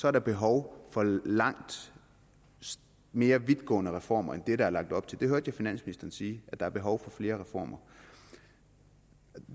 er der behov for langt mere vidtgående reformer end det der er lagt op til det hørte jeg finansministeren sige at der er behov for flere reformer og